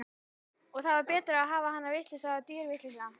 Og það var betra að hafa hana vitlausa en dýrvitlausa.